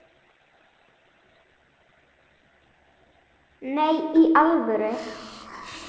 Nei, í alvöru